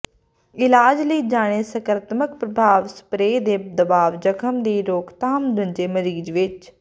ਇਲਾਜ ਲਈ ਜਾਣੇ ਸਕਾਰਾਤਮਕ ਪ੍ਰਭਾਵ ਸਪਰੇਅ ਦੇ ਦਬਾਅ ਜ਼ਖਮ ਦੀ ਰੋਕਥਾਮ ਮੰਜੇ ਮਰੀਜ਼ ਵਿੱਚ